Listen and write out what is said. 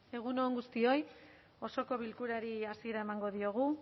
egun on guztioi osoko bilkurari hasiera emango diogu